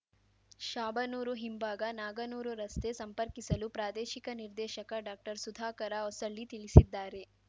ಶಾಬನೂರು ಹಿಂಭಾಗ ನಾಗನೂರು ರಸ್ತೆ ಸಂಪರ್ಕಿಸಲು ಪ್ರಾದೇಶಿಕ ನಿರ್ದೇಶಕ ಡಾಕ್ಟರ್ಸುಧಾಕರ ಹೊಸಳ್ಳಿ ತಿಳಿಸಿದ್ದಾರೆ